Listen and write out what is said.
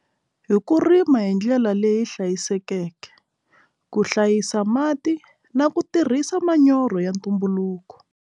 Hi ku rima hi ndlela leyi hlayisekeke ku hlayisa mati na ku tirhisa manyoro ya ntumbuluko.